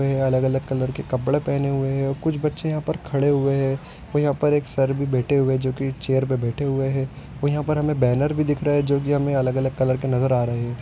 वे अलग अलग कलर के कपडे पेहने हुये हे कुछ बच्चे यहाँ पर खड़े हुए हे और यहाँ पर एक सर भी बैठे हुए जो की चेयर पे बैठे हुए हे और यहाँ पर महे बैनर भी दिख रहे हे जो की महे अलग अलग कलर के नजर आ रहे हे